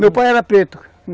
Meu pai era preto.